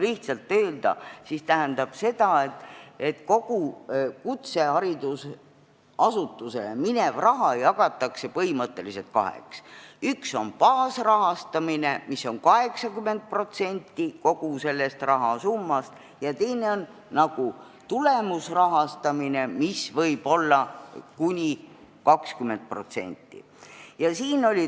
Lihtsalt öeldes tähendab see seda, et kogu kutseharidusasutustele minev raha jagatakse põhimõtteliselt kaheks: üks on baasrahastamine, mis on 80% kogu sellest rahasummast, ja teine on tulemusrahastamine, mis võib olla kuni 20%.